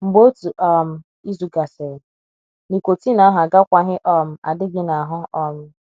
Mgbe otu um izu gasịrị, nicotine ahụ agakwaghị um adị gị n’ahụ. um